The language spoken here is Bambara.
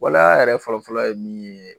Waleya yɛrɛ fɔlɔfɔlɔ ye min ye